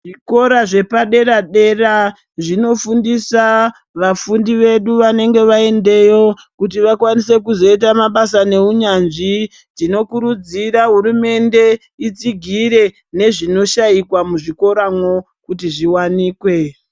Zvikora zvepadera dera zvinofundisa vefundi vedu vanenge vaendayo kuti vakwanise kuzoita mabasa neunyanzvi. Tinokurudzira hurumende itsigire nezvinoshaikwa muzvikoramwo kuti zviwanikwe.